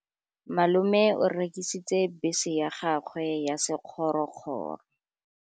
Malome o rekisitse bese ya gagwe ya sekgorokgoro.